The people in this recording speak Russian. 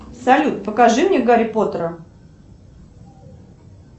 салют покажи мне гарри поттера